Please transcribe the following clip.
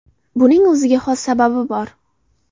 Buning o‘ziga xos sababi bor.